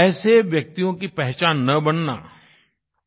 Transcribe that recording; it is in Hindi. ऐसे व्यक्तियों की पहचान न बनना